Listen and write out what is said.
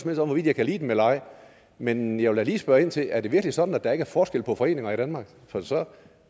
med om jeg kan lide dem eller ej men jeg vil da lige spørge ind til er det virkelig sådan at der ikke er forskel på foreninger i danmark for så